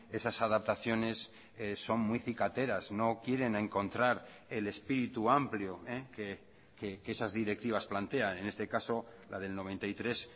esas adaptaciones son muy cicateras no quieren encontrar el espíritu amplio que esas directivas plantea en este caso la del noventa y tres